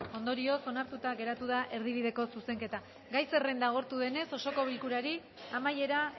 ondorioz onartuta geratu da erdibideko zuzenketa gai zerrenda agortu denez osoko bilkurari amaiera